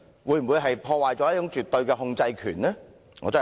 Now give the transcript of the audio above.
會否破壞絕對的控制權？